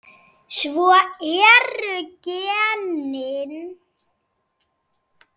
Svona eru genin.